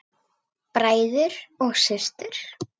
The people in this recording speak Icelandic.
Bræður og systur!